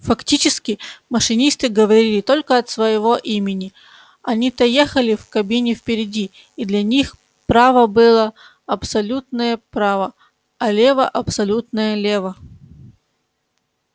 фактически машинисты говорили только от своего имени они-то ехали в кабине впереди и для них право было абсолютное право а лево абсолютное лево